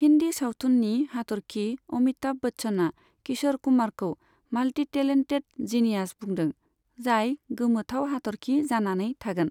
हिन्दि सावथुननि हाथरखि अमिताभ बच्चना किश'र कुमारखौ माल्टिटेलेन्टेद जिनियास बुंदों, जाय गोमोथाव हाथरखि जानानै थागोन।